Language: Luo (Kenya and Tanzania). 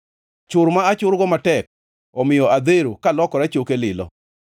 Chur ma achurgo matek omiyo adhero alokora choke lilo.